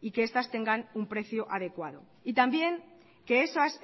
y que estas tengan un precio adecuado y también que esas